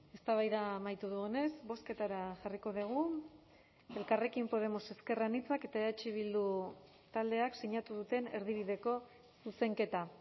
eztabaida amaitu dugunez bozketara jarriko dugu elkarrekin podemos ezker anitzak eta eh bildu taldeak sinatu duten erdibideko zuzenketa